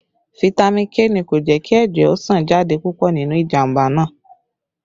Fitami K ni kò jẹ́ kí ẹ̀jẹ̀ ó sàn jáde púpọ̀ nínú ìjàmbá náà